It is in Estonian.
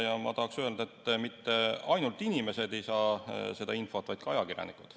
Ja ma tahaks öelda, et mitte ainult inimesed ei saa seda infot, vaid ka ajakirjanikud.